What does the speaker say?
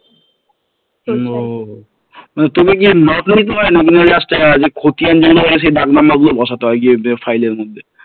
ও মানে তোকে কি Just যে খতিয়ান যেগুলো হয়েছে দাগ number গুলো বসাতে হয় File file এর মধ্য